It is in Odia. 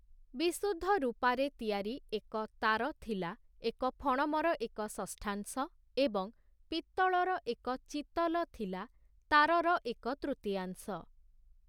ବିଶୁଦ୍ଧ ରୂପାରେ ତିଆରି ଏକ 'ତାର' ଥିଲା ଏକ 'ଫଣମ'ର ଏକ ଷଷ୍ଠାଂଶ, ଏବଂ ପିତ୍ତଳର ଏକ 'ଚିତଲ' ଥିଲା 'ତାର'ର ଏକ ତୃତୀୟାଂଶ ।